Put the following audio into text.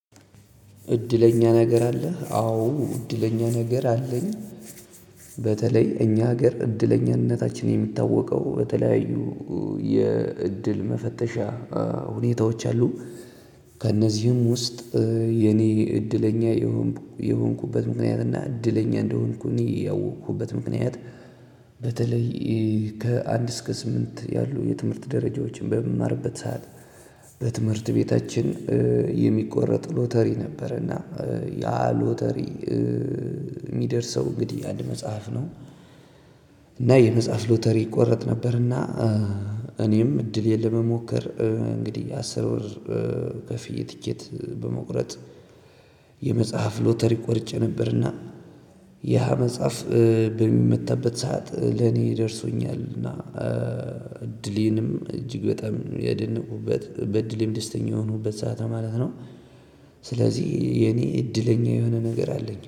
እድለኛ ነገር አለህ አዎ እድለኛ ነገር አለኝ በተለይ እኛ ሀገር እድለኛነታችን የሚታወቀው በተለያዩ የእድል መፈተሻ ሁኔታዎች አሉ። ከነዚህም ውስጥ የኔ እድለኛ የሆንኩ የሆንኩበት ምክንያት እና እድለኛ እንደሆንኩ ያወኩበት በተለይ ከአንድ እስከ ስምንት ያሉ የትምህርት ደረጃዎችን በምማርበት ሰዓት በትምህርት ቤታችን የሚቆረጥ ሎተሪ ነበረ እና ያ ሎተሪ የሚደርሰው እንግዲህ አንድ መጽሐፍ ነው። እና የመጽሐፍ ሎተሪ ይቆረጥ ነበርና እኔም እድሌ ለመሞከር እንግዲህ አስር ብር ከፍዬ ትኬት በመቁረጥ የመጽሃፍ ሎተሪ ቆርጬ ነበር አና ያ መጽሐፍ በሚመታበት ሰዓት ለኔ ደርሶኛል እና እድሌንም እጅግ በጣም ያደነኩበት በእድሌም ደስተኛ የሆንኩበት ሰዓት ነው ማለት ነው። ስለዚህ የኔ እድለኛ የሆነ ነገር አለኝ።